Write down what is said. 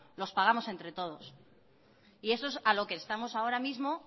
los pagamos entre todos y eso es a lo que estamos ahora mismo